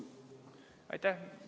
Aitäh!